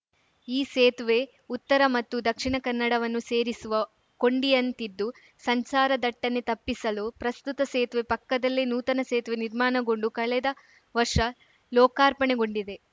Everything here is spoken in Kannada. ಈ ಸೇತುವೆ ಉತ್ತರ ಮತ್ತು ದಕ್ಷಿಣ ಕನ್ನಡವನ್ನು ಸೇರಿಸುವ ಕೊಂಡಿಯಂತಿದ್ದು ಸಂಚಾರ ದಟ್ಟಣೆ ತಪ್ಪಿಸಲು ಪ್ರಸ್ತುತ ಸೇತುವೆ ಪಕ್ಕದಲ್ಲೇ ನೂತನ ಸೇತುವೆ ನಿರ್ಮಾಣಗೊಂಡು ಕಳೆದ ವರ್ಷ ಲೋಕಾರ್ಪಣೆಗೊಂಡಿದೆ